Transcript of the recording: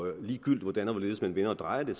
ligegyldigt hvordan og hvorledes man vender og drejer det